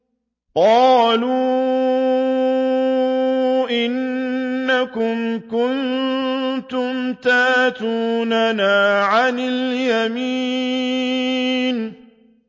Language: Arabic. قَالُوا إِنَّكُمْ كُنتُمْ تَأْتُونَنَا عَنِ الْيَمِينِ